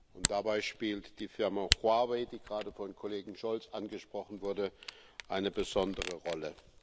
Und dabei spielt die Firma Huawei, die gerade vom Kollegen Scholz angesprochen wurde, eine besondere Rolle.